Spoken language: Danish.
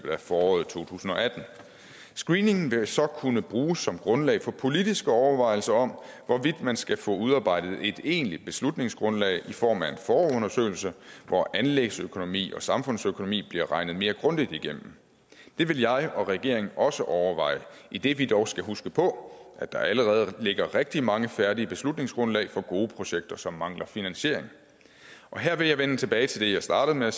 af foråret to tusind og atten screeningen vil så kunne bruges som grundlag for politiske overvejelser om hvorvidt man skal få udarbejdet et egentlig beslutningsgrundlag i form af en forundersøgelse hvor anlægsøkonomi og samfundsøkonomi bliver regnet mere grundigt igennem det vil jeg og regeringen også overveje idet vi dog skal huske på at der allerede ligger rigtig mange færdige beslutningsgrundlag for gode projekter som mangler finansiering her vil jeg vende tilbage til det jeg startede med at